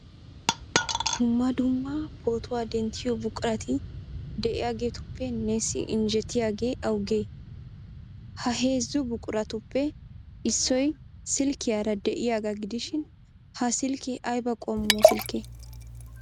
Dumma dumma pootuwa denttiyo buqurati de'iyageetuppe neessi injjetiyagee awugee? Ha heezzu buquratuppe issoy silkkiyara de'iyagaa gidishin ha silkkee ayba qommo silkkee?